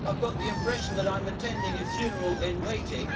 I have the impression that I am attending a funeral in waiting.